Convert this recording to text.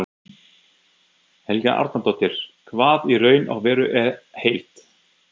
Helga Arnardóttir: Hvað í raun og veru er heilt?